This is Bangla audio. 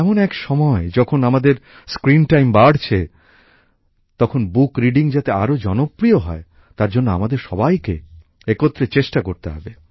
এমন এক সময় যখন আমাদের স্ক্রিন টাইম বাড়ছে তখন বই পড়াও যাতে আরও জনপ্রিয় হয় তার জন্য আমাদের সবাইকে একত্রে চেষ্টা করতে হবে